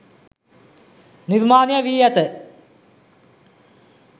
නිර්මාණය වී ඇත.